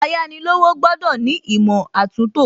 Ayánilówó gbọ́dọ̀ ní ìmọ̀ àtúntò